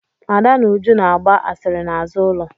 Ada na Uju na-agba asịrị n'azụ ụlọ.